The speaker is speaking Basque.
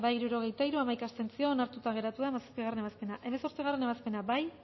hirurogeita hiru boto aldekoa hamaika abstentzio onartuta geratu da hamazazpigarrena ebazpena hemezortzigarrena ebazpena bozkatu